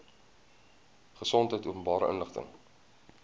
gesondheid openbare inligting